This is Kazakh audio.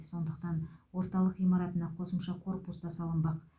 сондықтан орталық ғимаратына қосымша корпус та салынбақ